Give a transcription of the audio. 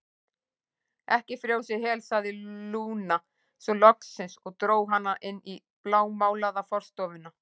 Ekki frjósa í hel, sagði Lúna svo loksins og dró hana inn í blámálaða forstofuna.